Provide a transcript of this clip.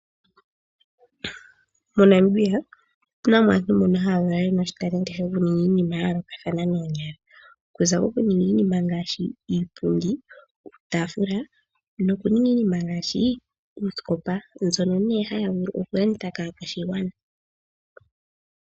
MoNamibia otu na aantu mboka yena oshitalenti shokuninga iinima yayoolokathana noonyala. Oku za kokuninga iinima ngaashi iipundi , iitaafula noosikopa, mbyono haya vulu okulanditha kaakwashigwana .